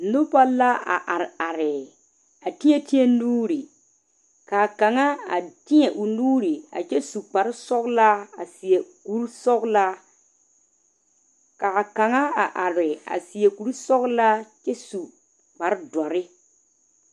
Noba la a are are a teɛ teɛ nuure kaa kaŋa a teɛ o nuure a kyɛ su kpare sɔgelaa a seɛ kuri sɔgelaa ka a kaŋa a are a seɛ kuri sɔgelaa kyɛ su kparre doɔre